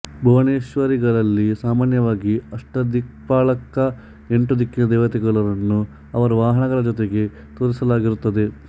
ಭುವನೇಶ್ವರಿಗಳಲ್ಲಿ ಸಾಮಾನ್ಯವಾಗಿ ಅಷ್ಟದಿಕ್ಪಾಲಕ ಎಂಟು ದಿಕ್ಕಿನ ದೇವತೆಗಳು ರನ್ನು ಅವರ ವಾಹನಗಳ ಜೊತೆಗೆ ತೋರಿಸಲಾಗಿರುತ್ತದೆ